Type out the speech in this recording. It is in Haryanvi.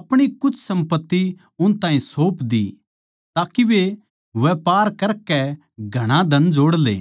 अपणी कुछ सम्पत्ति उन ताहीं सौप दी ताके वे व्यापर करकै घणा धन जोड़ ले